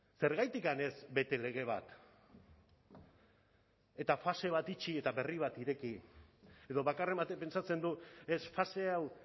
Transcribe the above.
zergatik ez bete lege bat eta fase bat itxi eta berri bat ireki edo bakarren batek pentsatzen du ez fase hau